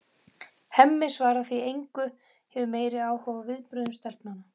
Hemmi svarar því engu, hefur meiri áhuga á viðbrögðum stelpnanna.